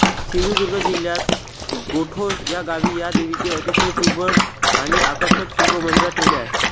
सिंधुदुर्ग जिल्ह्य़ात गोठोस या गावी या देवीचे अतिशय सुबक आणि आकर्षक शिल्प मंदिरात ठेवलेले आहे